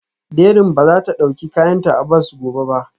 Dẹrín ba za ta ɗauki kayanta a bas gobe ba